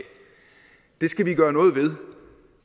det skal vi gøre noget ved